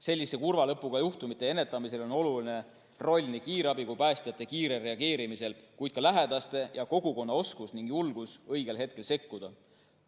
Sellise kurva lõpuga juhtumite ennetamisel on oluline roll nii kiirabi kui ka päästjate kiirel reageerimisel, kuid ka lähedaste ja kogukonna oskusel ning julgusel õigel hetkel sekkuda.